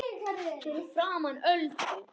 Fyrir framan Öldu.